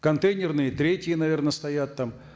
контейнерные третьи наверно стоят там